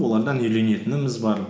олардан үйренетініміз бар